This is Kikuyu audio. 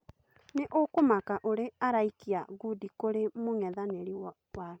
Nĩ ũkũmaka ũrĩ a araikia ngundi kũrĩ mũng'ethanĩ ri wake